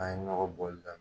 An ye ɲɔgɔ bɔli daminɛ